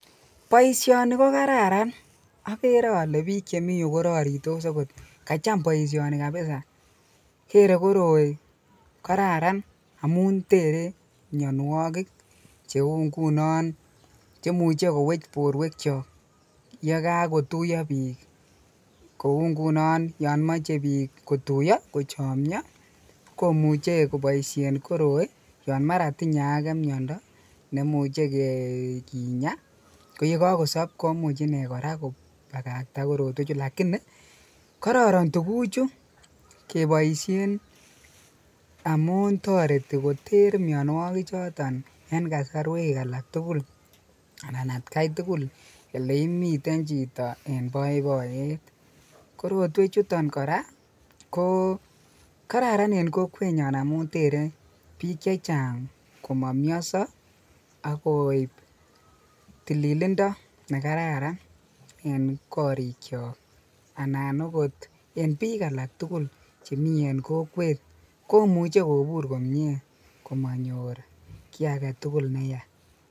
Poishoni kokararan, akere ale piko chemiyu korarisot Ako kacham poishoni kabisa kere koroiko kararan amun tere mionwokik cheu nguno cheimuche kowech porwek cho yekakotuyo piik kou nguno yo mochei piik kotuyo kochomyo komuchei koboishe koroi yon mara tinye ake mnyondo nemuche kenya ko yekakosop komuchei ine kopakakta korotwek chu, lakini kororon tuguchu keboishen amu toreti koter mionwokik choton en kasarwek alak tugul anan atkai tugul oleimiten chito en poipoiyet. Korotwek chuton kora ko kororon en kokwenyo amun terei piik chechang ama mionso akoip tililindo nekararan en korik cho anan okot en piik alak tugul en kokwet komuchei kobur komie komanyor kiy agetugul neya.